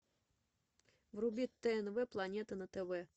вруби тнв планета на тв